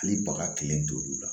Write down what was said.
Hali baga kelen t'olu la